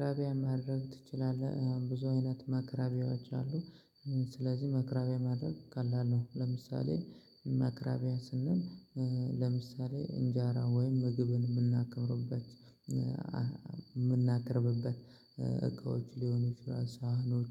ራቢያ ማድረግ ትችላለህ ብዙ አይነት መክራቢያዎች አሉ። ስለዚህ መክራቢያ ማድረግ ቀላል ነው። ለምሳሌ ማክራቢያ ስንል ለምሳሌ እንጃራ ወይም ምግብን የምናከብርበት የምናቀርብበት። እቃዎች ሊሆኑ ሳህኖች